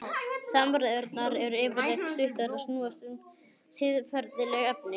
Samræðurnar eru yfirleitt stuttar og snúast um siðferðileg efni.